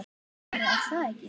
Bara, er það ekki?